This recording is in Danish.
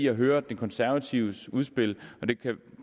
at høre de konservatives udspil og det